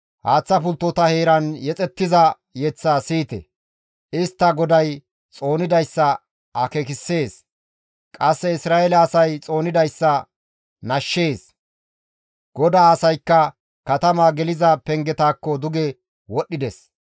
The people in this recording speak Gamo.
Haaththa pulttota heeran yexettiza yeththaa siyite; istta GODAY xoonidayssa akeekissees; qasse Isra7eele asay xoonidayssa nashshees. «GODAA asaykka katama geliza pengetakko duge wodhdhides.